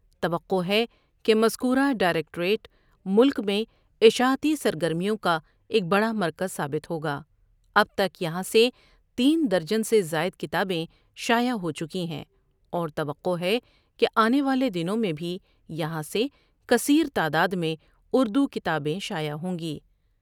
توقع ہے کہ مزکورہ ڈاٮٔرکٹوریٹ ملک میں اشاعتی سرگرمیوں کا ایک بڑا مرکز ثابت ہوگا ۔ اب تک یہاں سے تین درجن سے زاٮٔد کتابیں شاٮٔع ہو چکی ہیں اور توقع ہے کہ آنے والے دنوں میں بھی یہاں سے کثیر تعداد میں اُردو کتابیں شاٮٔع ہوں گی ۔